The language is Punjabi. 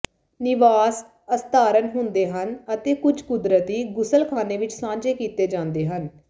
ਨਿਵਾਸ ਅਸਧਾਰਨ ਹੁੰਦੇ ਹਨ ਅਤੇ ਕੁੱਝ ਕੁਦਰਤੀ ਗੁਸਲਖਾਨੇ ਵਿਚ ਸਾਂਝੇ ਕੀਤੇ ਜਾਂਦੇ ਹਨ